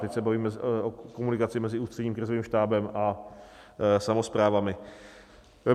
Teď se bavíme o komunikaci mezi Ústředním krizovým štábem a samosprávami.